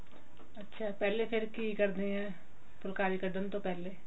ਅੱਛਾ ਪਹਿਲੇ ਫਿਰ ਕਿ ਕਰਦੇ ਆਂ ਫੁੱਲਕਾਰੀ ਕਡਣ ਤੋਂ ਪਹਿਲੇ